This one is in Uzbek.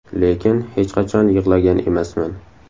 Lekin hech qachon yig‘lagan emasman.